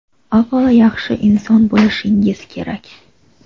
Avvalo yaxshi inson bo‘lishingiz kerak.